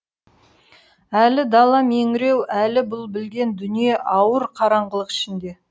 әлі дала меңіреу әлі бұл білген дүние ауыр қараңғылық ішінде